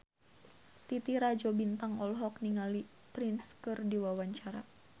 Titi Rajo Bintang olohok ningali Prince keur diwawancara